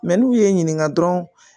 Mɛ n'u ye n ɲininka dɔrɔn